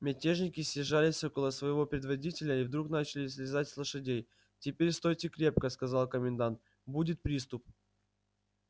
мятежники съезжались около своего предводителя и вдруг начали слезать с лошадей теперь стойте крепко сказал комендант будет приступ